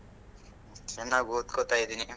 ಚೆನ್ನಾಗಿ ಓದ್ಕೋತಾ ಇದೀನಿ.